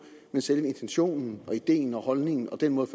men selve intentionen og ideen og holdningen og den måde